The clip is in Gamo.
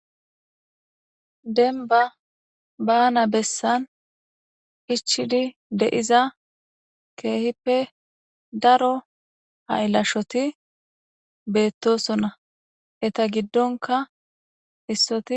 Denba baana bessan ichidi deiza keehippe daro hailashoti beettosonna eta giddonka issoti